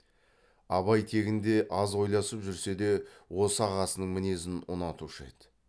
абай тегінде аз ойласып жүрсе де осы ағасының мінезін ұнатушы еді